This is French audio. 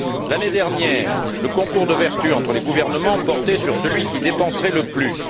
L'année dernière, le concours de vertu entre les gouvernements portait sur celui qui dépenserait le plus.